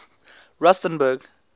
rustenburg